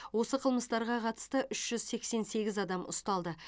осы қылмыстарға қатысты үш жүз сексен сегіз адам ұсталды